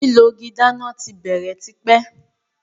lilọ ìgi dáná tí bèrè t'ipe.